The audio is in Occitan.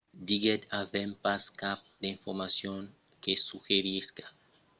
diguèt avèm pas cap d'informacion que suggerisca qu'una ataca es esperada imminentament